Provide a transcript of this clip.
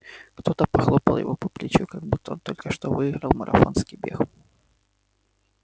кто-то похлопал его по плечу как будто он только что выиграл марафонский бег